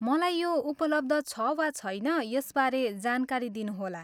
मलाई यो उपलब्ध छ वा छैन, यसबारे जानकारी दिनुहोला।